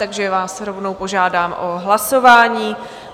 Takže vás rovnou požádám o hlasování.